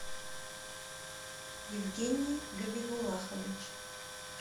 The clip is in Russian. евгений габибуллахович